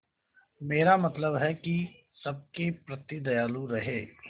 मेरा मतलब है कि सबके प्रति दयालु रहें